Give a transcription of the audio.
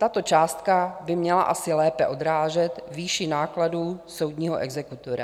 Tato částka by měla asi lépe odrážet výši nákladů soudního exekutora.